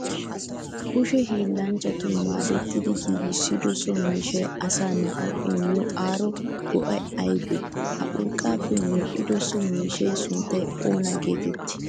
kushe hillanchchatun maaddettidi giggissido so miishshay asaa naa7awu immiyo aaro go7ay aybee? ha urqqappe medhdhido so miishshaa suntta oona geteetti?